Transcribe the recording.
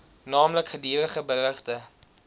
naamlik gedurige berigte